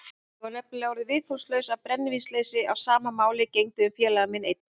Ég var nefnilega orðinn viðþolslaus af brennivínsleysi og sama máli gegndi um félaga minn einn.